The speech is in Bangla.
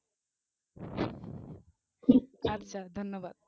আচ্ছা ধন্যবাদ